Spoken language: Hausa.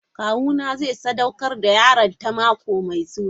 Kawuna zai sadaukar da yaronta mako mai zuwa.